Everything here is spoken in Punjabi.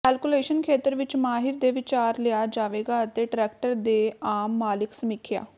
ਕੈਲਕੂਲੇਸ਼ਨ ਖੇਤਰ ਵਿੱਚ ਮਾਹਿਰ ਦੇ ਵਿਚਾਰ ਲਿਆ ਜਾਵੇਗਾ ਅਤੇ ਟਰੈਕਰ ਦੇ ਆਮ ਮਾਲਕ ਸਮੀਖਿਆ